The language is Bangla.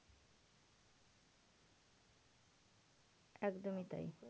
একদমই তাই।